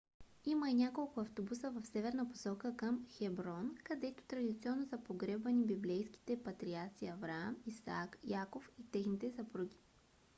има и няколко автобуса в северна посока към хеброн където традиционно са погребвани библейските патриарси авраам исак яков и техните съпруги